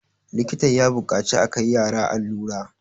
likita ya buƙaci a Kai yara allura